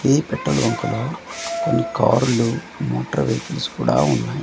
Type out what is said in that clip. ఈ కొన్ని కార్ లు మోటార్ వెహికల్స్ కూడా ఉన్నాయి.